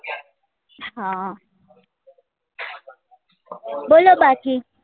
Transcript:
હા બોલો બાકી